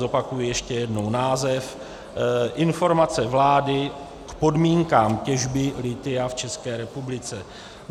Zopakuji ještě jednou název: Informace vlády k podmínkám těžby lithia v České republice.